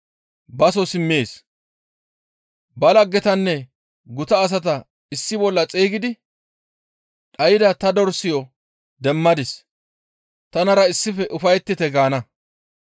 baso simmees; ba laggetanne guta asata issi bolla xeygidi, ‹Dhayda ta dorsayo demmadis; tanara issife ufayettite› gaana.